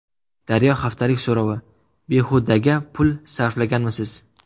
Daryo haftalik so‘rovi: Behudaga pul sarflaganmisiz?.